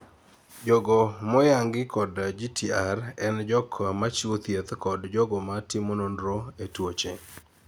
jogo moyangi kod GTR en jok machiwo thieth kod jogo ma timo nonro ne tuoche